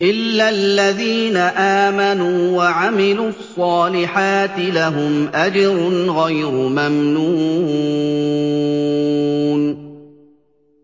إِلَّا الَّذِينَ آمَنُوا وَعَمِلُوا الصَّالِحَاتِ لَهُمْ أَجْرٌ غَيْرُ مَمْنُونٍ